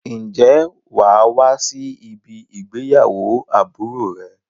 Ǹjẹ́ wà á wá sí ibí ìgbéyàwó àbúrò rẹ?